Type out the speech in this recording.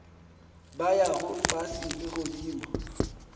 ba yago fase le godimo